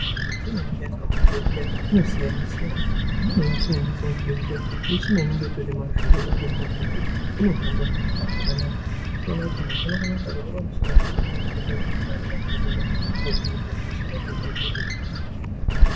Michini inoshandiswa muzvibhedhlera inosiyana siyana. Imweni yemichini inoshandiswa muzvibhedhlera michina inenge itori nemavhiri ngekuti inohambe zvakanaka. Unotoona kuti munhu unokone kutotakurwe pamuchini otohambiswe kwaanenge achida kuenda koohinirwa hosha yake zviro zvotoita zvakanaka.